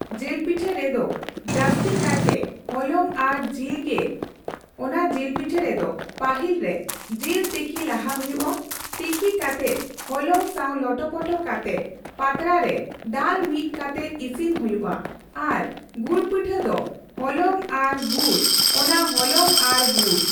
ᱡᱤᱞᱯᱤᱴᱷᱟᱹ ᱨᱮᱫᱚ ᱡᱟᱹᱥᱛᱤᱠᱟᱭ ᱛᱮ ᱦᱚᱞᱚᱝ ᱟᱨ ᱡᱤᱞ ᱜᱮ ᱚᱱᱟ ᱡᱤᱞᱯᱤᱴᱷᱟᱹ ᱨᱮᱫᱚ ᱯᱟᱹᱦᱤᱞ ᱨᱮ ᱡᱤᱞ ᱛᱤᱠᱤ ᱞᱟᱦᱟ ᱦᱩᱭᱩᱜ ᱟ ᱛᱤᱠᱤ ᱠᱟᱛᱮᱜ ᱦᱚᱞᱚᱝ ᱥᱟᱣ ᱞᱚᱴᱚᱼᱯᱚᱴᱚ ᱠᱟᱛᱮᱜ ᱯᱟᱛᱲᱟ ᱯᱟᱛᱲᱟᱨᱮ ᱫᱟᱞ ᱢᱤᱫ ᱠᱟᱛᱮᱜ ᱤᱥᱤᱱ ᱦᱩᱭᱩᱜᱼᱟ ᱟᱨ ᱜᱩᱲᱯᱤᱴᱷᱟᱹ ᱫᱚ ᱦᱚᱞᱚᱝ ᱦᱚᱞᱚᱝ ᱟᱨ ᱜᱩᱲ ᱚᱱᱟ ᱦᱚᱞᱚᱝ ᱟᱨ ᱜᱩᱲ᱾